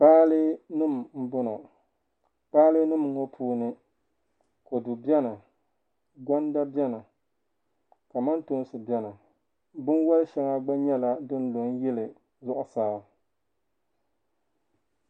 Kpaale nim n bɔŋɔ, kpaale nim ŋɔ puuni kodu beni, gonda beni kamantoonsi beni bɛ wali shaŋa gba nyɛla din lɔ n yili zuɣu saa,